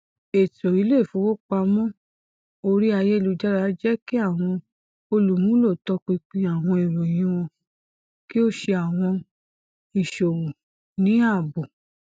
eto ile ifowopamọ ori ayelujara jẹ ki awọn olumulo tọpinpin awọn iroyin wọn ki o ṣe awọn iṣowo ni aabo